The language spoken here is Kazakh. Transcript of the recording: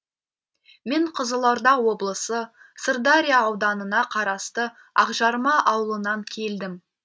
мен қызылорда облысы сырдария ауданына қарасты ақжарма ауылынан келдім